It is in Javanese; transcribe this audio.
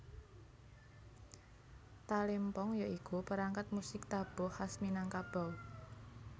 Talempong ya iku perangkat musik tabuh khas Minangkabau